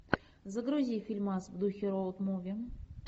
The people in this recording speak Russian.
загрузи фильмас в духе роуд муви